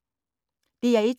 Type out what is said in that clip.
DR1